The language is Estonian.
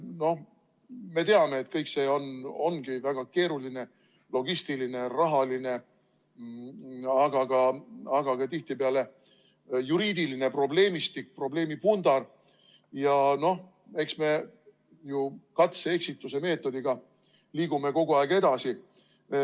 Noh, me teame, et kõik see ongi väga keeruline logistiline, rahaline, aga tihtipeale ka juriidiline probleemistik, probleemipundar ja eks me ju katse ja eksituse meetodil liigume kogu aeg edasi.